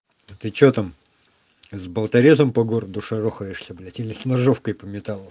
та ты что там с болторезом по городу шарохаешься блядь или с ножовкой по металлу